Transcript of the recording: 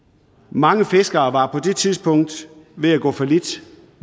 mange fiskere var på det tidspunkt ved at gå fallit